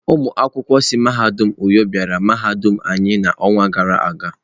Ụmụ akwụkwọ si mahadum uyo bịara mahadum anyi n'ọnwa gara aga.